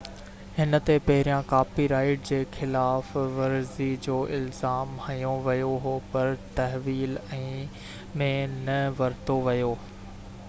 هن تي پهريان ڪاپي رائيٽ جي خلاف ورزي جو الزام هنيو ويو هو پر تحويل ۾ نه ورتو ويو